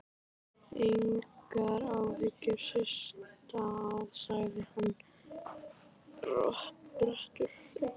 Engar áhyggjur, Systa sagði hann borubrattur.